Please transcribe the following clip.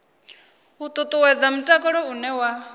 u ṱuṱuwedza mutakalo une wa